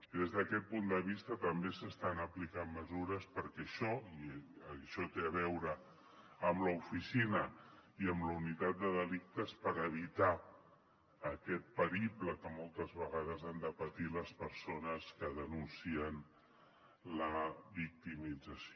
des d’aquest punt de vista també s’estan aplicant mesures i això té a veure amb l’oficina i amb la unitat de delictes per evitar aquest periple que moltes vegades han de patir les persones que denuncien la victimització